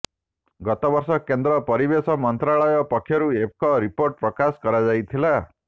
ଗତ ବର୍ଷ କେନ୍ଦ୍ର ପରିବେଶ ମନ୍ତ୍ରଣାଳୟ ପକ୍ଷରୁ ଏକ ରିପୋର୍ଟ ପ୍ରକାଶ କରାଯାଇଥିଲା